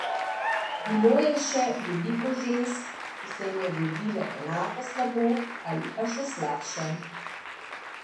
Bilo je še veliko žensk, ki se jim je godilo enako slabo ali pa še slabše.